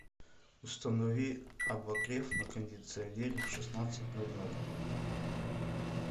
установи обогрев на кондиционере в шестнадцать ноль ноль